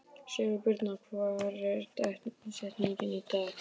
Sigurbirna, hver er dagsetningin í dag?